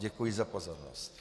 Děkuji za pozornost.